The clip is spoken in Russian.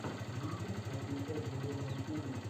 висин офишел виво на ютюбе